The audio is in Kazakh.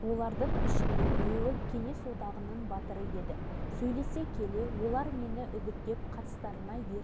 сол жылы қазан айында біздің ауылға ұшақпен он екі